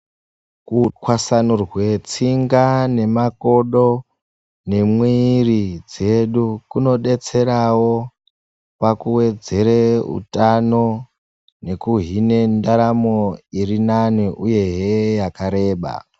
Kutwasanurwe tsinga nemakodo neemwiri dzedu kunodetserao pakuwedzere utano nekuhine ndaramo iri nani uyehe yakareba.